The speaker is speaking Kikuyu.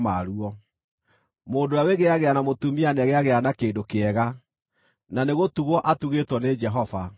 Mũndũ ũrĩa wĩgĩĩagĩra na mũtumia nĩegĩagĩra na kĩndũ kĩega, na nĩgũtugwo atugĩtwo nĩ Jehova.